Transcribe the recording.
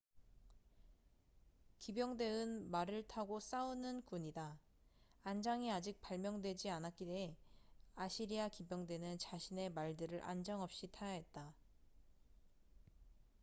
기병대은 말을 타고 싸우는 군이다 안장이 아직 발명되지 않았기에 아시리아 기병대는 자신의 말들을 안장 없이 타야 했다